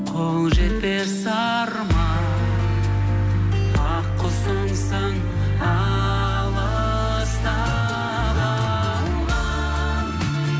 қол жетпес арман ақ құсымсың алыста қалған